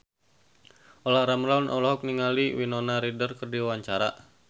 Olla Ramlan olohok ningali Winona Ryder keur diwawancara